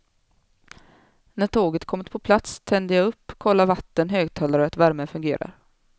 När tåget kommit på plats tänder jag upp, kollar vatten, högtalare och att värmen fungerar.